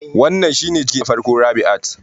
Wannan shine ciki na farko Rabiat